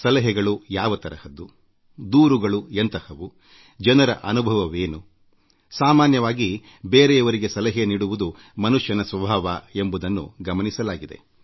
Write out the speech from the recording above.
ಸಲಹೆಗಳು ಯಾವ ತರಹದ್ದು ದೂರುಗಳು ಎಂಥಹವು ಜನರ ಅನುಭವವೇನುಸಾಮಾನ್ಯವಾಗಿ ಬೇರೆಯವರಿಗೆ ಸಲಹೆ ಅಥವಾ ಪರಿಹಾರ ನೀಡುವುದು ಪ್ರಕೃತಿ ಸ್ವಭಾವದ ಭಾಗವಾಗಿದೆ